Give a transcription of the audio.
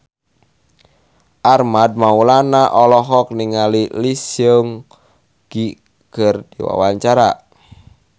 Armand Maulana olohok ningali Lee Seung Gi keur diwawancara